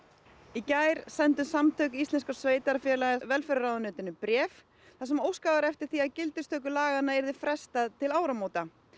í gær sendi Samband íslenskra sveitarfélaga velferðarráðuneytinu bréf þar sem óskað var eftir því að gildistöku laganna yrði frestað til áramóta